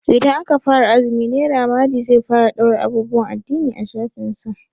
Idan aka fara azumi Naira mali zai fara ɗaura abubuwan addini a shafinsa.